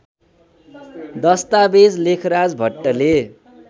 दश्तावेज लेखराज भट्टले